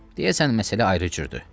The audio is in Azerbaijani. Deyəsən məsələ ayrı cürdür.